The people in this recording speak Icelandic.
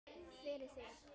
Fyrir þig.